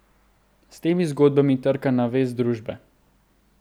S temi zgodbami trka na vest družbe.